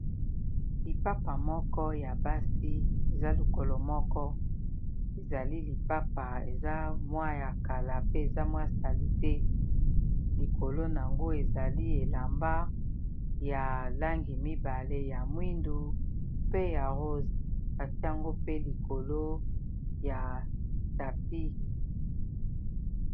Lipapa moko ya basi eza likolo moko ezali lipapa eza mwa ya kala pe eza mwa salite likolo nango ezali elamba ya langi mibale ya mwindu pe ya rose atiango pe likolo ya tapis.